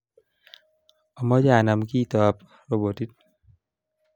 Amache anam kito ab robotit